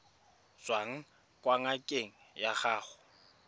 tswang kwa ngakeng ya gago